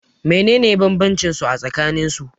menene bambancinsu a tsakanin su?